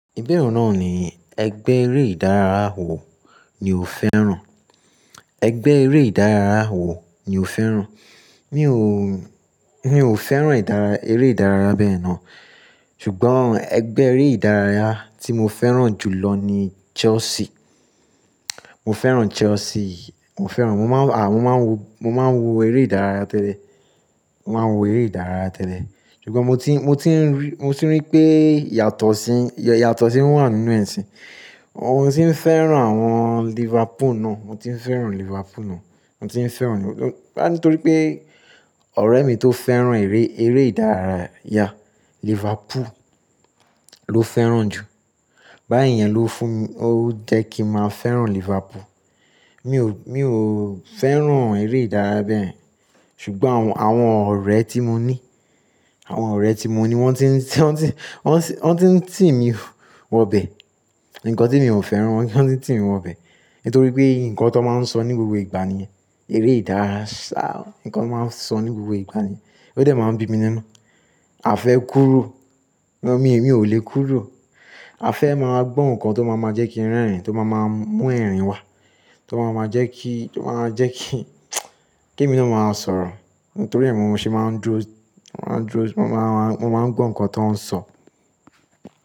Ìbẹ̀rù náà ni ẹgbẹ́ eré ìdárayá wo ni o fẹ́ràn? Ẹgbẹ́ eré ìdárayá wo ni o fẹ́ràn? Mi ò, mi ò fẹ́ràn ìdárayá, eré ìdárayá bẹ́ẹ̀ náà. Ṣùgbọ́n ẹgbẹ́ eré ìdárayá tí mo fẹ́ràn jù lọ ni Chelsea. Mo fẹ́ràn Chelsea, mo fẹ́ràn, mo máa ń, à, mo máa ń wo, mo máa ń wo eré ìdárayá tẹ́lẹ̀. Mo máa ń wo eré ìdárayá tẹ́lẹ̀. Ṣùgbọ́n mo ti, mo ti rí, mo ti rí pé ìyàtọ̀ sí, ìyàtọ̀ sì wà nínú ẹ̀ ṣin. Mo ti ń fẹ́ràn àwọn Liverpool náà, mo ti ń fẹ́ràn Liverpool náà, mo ti ń fẹ́ràn. Bá nítorí pé ọ̀rẹ́ mi tó fẹ́ràn eré, eré ìdárayá Liverpool ló fẹ́ràn jù. Báyìí yẹn ló fún mi, ó jẹ́ kí màá fẹ́ràn Liverpool. Mi ò, mi ò fẹ́ràn eré ìdárayá bẹ́ẹ̀. Ṣùgbọ́n àwọn, àwọn ọ̀rẹ́ tí mo ní, àwọn ọ̀rẹ́ tí mo ní wọ́n ti ń, wọ́n ti ń, wọ́n ti ń tì mí wọ bẹ. Ǹkan tí mi ò fẹ́ràn, wọ́n ti ń tì mí wọ bẹ. Nítorí pé nǹkan tó máa ń sọ ní gbogbo ìgbà ni eré ìdárayá. Ǹkan tó máa ń sọ ní gbogbo ìgbà ni. Ó dẹ̀ máa ń bí mi nínú. A fẹ́ kúró, mi ò le kúró. A fẹ́ máa gbọ́ nǹkan tó máa máa jẹ́ kí ń rẹ́rìn-ín, tó máa máa mú ẹ̀rín wá, tó máa máa jẹ́ kí, tó máa jẹ́ kí, kí mi náà máa sọ̀rọ̀. Nítorí èmi ò ṣe máa ń dró, máa ń dró, mo máa ń, mo máa ń gbọ́ nǹkan tó ń sọ.